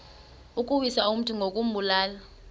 ukuwisa umntu ngokumbulala